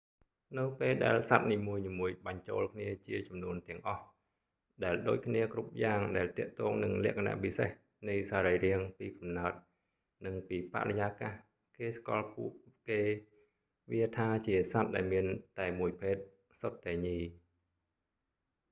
នៅពេលដែលសត្វនីមួយៗបញ្ចូលគ្នាជាចំនួនទាំងអស់ ដែលដូចគ្នាគ្រប់យ៉ាងដែលទាក់ទងនឹងលក្ខណៈពិសេសនៃសរីរាង្គពីកំណើតនិងពីបរិយាកាស គេស្គាល់ពួកគេវាថាជាសត្វដែលមានតែមួយភេទ សុទ្ធតែញី monomorphic